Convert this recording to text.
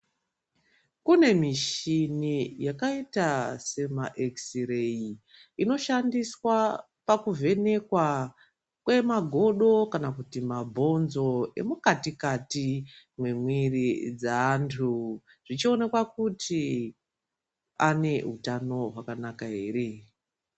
Kune mishini yakaita sema ekisireyi inoshandiswa pakuvhenekwa kwemagodo kana kuti mabhonzo emukatikati mwemwiri dzeantu zvichionekwa kuti ane utano hwakanaka here.